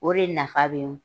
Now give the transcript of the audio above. O de nafa be